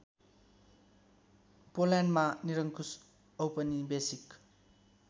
पोल्यान्डमा निरङ्कुश औपनिवेशिक